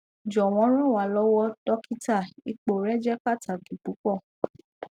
jọwọ ran wa lọwọ dokita ipo rẹ jẹ pataki pupọ